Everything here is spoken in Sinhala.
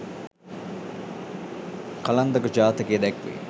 කලන්දක ජාතකයේ දැක්වේ.